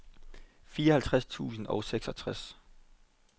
fireoghalvfjerds tusind og seksogtres